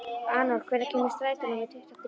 Anor, hvenær kemur strætó númer tuttugu og þrjú?